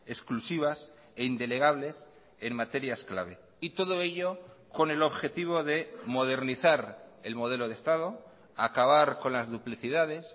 exclusivas e indelegables en materias clave y todo ello con el objetivo de modernizar el modelo de estado acabar con las duplicidades